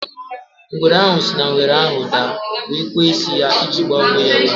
Ngwere ahụ si na ngere ahụ daa wee kwee isi ya iji gbaa onwe ya ume.